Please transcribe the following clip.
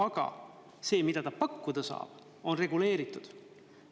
Aga see, mida ta pakkuda saab, on reguleeritud.